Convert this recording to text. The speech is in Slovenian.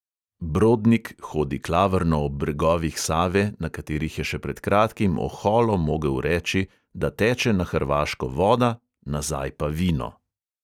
Brodnik hodi klavrno ob bregovih save, na katerih je še pred kratkim oholo mogel reči, da teče na hrvaško voda, nazaj pa vino.